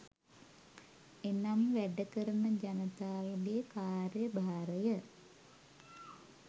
එනම් වැඩ කරන ජනතාවගේ කාර්යභාරය